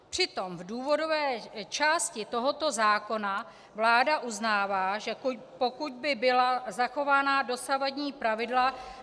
Přitom v důvodové části tohoto zákona vláda uznává, že pokud by byla zachována dosavadní pravidla -